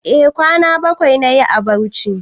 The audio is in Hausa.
E kwana bakwai nayi a Bauchi